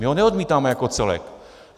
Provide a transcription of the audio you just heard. My ho neodmítáme jako celek.